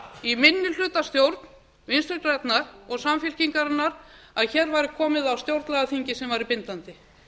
í minnihlutastjórn vinstri grænna og samfylkingarinnar að hér var komið á stjórnlagaþingi sem væri bindandi